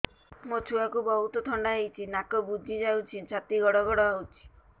ମୋ ଛୁଆକୁ ବହୁତ ଥଣ୍ଡା ହେଇଚି ନାକ ବୁଜି ଯାଉଛି ଛାତି ଘଡ ଘଡ ହଉଚି